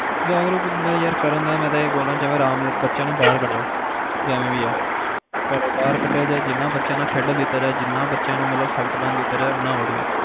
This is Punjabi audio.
ਜਾਗਰੂਕ ਦਾ ਕਰਨ ਦਾ ਮੈਂ ਏਦਾਂ ਇਹ ਬੋਲਦਾ ਕਿ ਬੱਚਿਆਂ ਨੂੰ ਬਾਹਰ ਕੱਢੋ ਜਿਵੇ ਵੀ ਆ ਘਰੋਂ ਬਾਹਰ ਕੱਡਿਆ ਜਾਏ ਬੱਚਿਆਂ ਨਾਲ ਖੇਡਣ ਦਿੱਤਾ ਜਾਏ ਜਿੰਨਾ ਸਖ਼ਤ ਬੰਦ ਕੀਤਾ ਜਾਏ ਉਹਨਾਂ ਵਧੀਆ